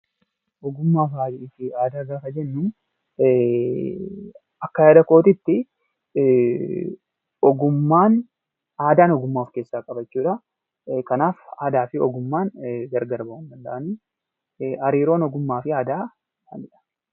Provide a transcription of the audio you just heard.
Ogummaa fi aadaa gaafa jennu, akka yaada kiyyaatti, ogummaan aadaan ogummaa of keessaa qaba jechuudha. Kanaaf aadaa fi ogummaan gargar bahuu hin danda'anii hariiroon ogummaa fi aadaa maalidha?